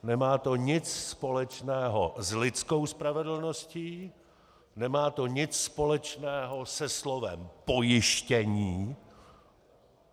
Nemá to nic společného s lidskou spravedlností, nemá to nic společného se slovem pojištění.